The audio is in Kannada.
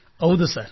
ಹೌದು ಸರ್